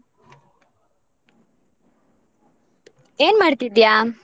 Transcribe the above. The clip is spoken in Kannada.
ಏನ್ ಮಾಡ್ತಿದ್ದ್ಯಾ?